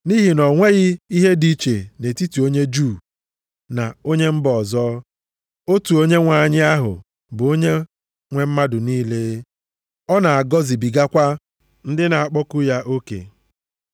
Nʼihi na o nweghị ihe dị iche nʼetiti onye Juu na onye mba ọzọ, otu Onyenwe anyị ahụ bụ Onye nwe mmadụ niile, ọ na-agọzibigakwa ndị na-akpọku ya oke.